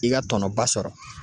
I ka tɔnɔba sɔrɔ.